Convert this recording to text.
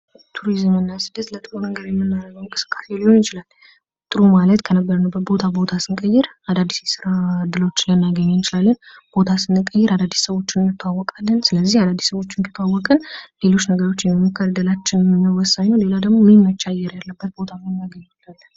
ቱሪዝምና ስደት ለጥሩ ነገር የምናደርገው እንቅስቃሴ ሊሆን ይችላል። ጥሩ ማለት ከነበርንበት ቦታ ቦታ ስንቀይር አዳዲስ የስራ እድሎች ልናገኝ እንችላለን። ቦታ ስንቀይር አዳዲስ ሰዎች እንታወቃለን። ስለዚህ አዳዲስ ሰዎችን ከተዋወቅን። ሌሎች ነገሮችን የሙሞክር እድላችንን ወሳኝ ነው ሌላ ደግሞ የሚመች አየር ልናገኝ እንችላለን።